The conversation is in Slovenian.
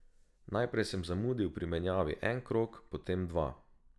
Najprej sem zamudil pri menjavi en krog, potem dva.